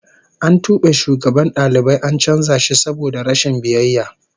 An tube shugaban dalibai an canza shi saboda rashin biyayya